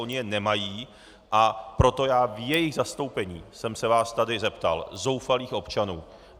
Oni je nemají, a proto já v jejich zastoupení jsem se vás tady zeptal, zoufalých občanů.